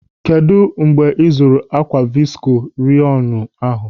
Kedụ mgbe ị zụrụ ákwà visko reyọnu ahụ?